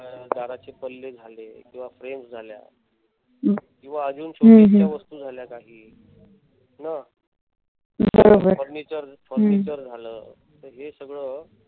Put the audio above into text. दराचे पल्ले झाले किंवा frames झाल्या किंवा अजून शोभेच्या वस्तू झाल्या काही न. furniture furniture झालं. तर हे सगळ